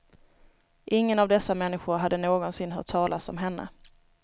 Ingen av dessa människor hade någonsin hört talas om henne.